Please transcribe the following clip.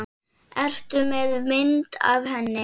Ertu með mynd af henni?